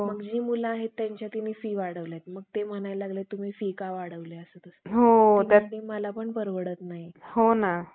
आर्थिक स्थैर्य जेव्हा आपलं ढासळतं तेव्हा आपण कोणती आणीबाणी लावतो? तर वित्तीय आणीबाणी लावतो. आता वित्तीय आणीबाणी, राज्य घटनेच्या कलम तीनशे साठमध्ये, वित्तीय आणीबाणीविषयी तरतुदी दिलेल्या आहे. आता वित्तीय आणीबाणसुद्धा,